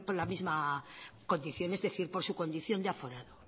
la misma condición es decir por su condición de aforado